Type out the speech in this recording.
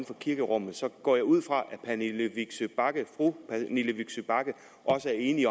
kirkerummet går jeg ud fra at fru pernille vigsø bagge også er enig